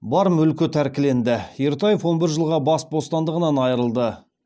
бар мүлкі тәркіленеді ертаев он бір жылға бас бостандығынан айырылды